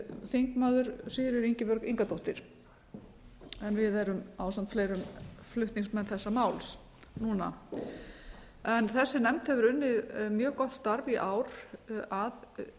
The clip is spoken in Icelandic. þingmaður sigríður ingibjörg ingadóttir en við erum ásamt fleirum flutningsmenn þessa máls núna þessi nefnd hefur unnið mjög gott starf í ár að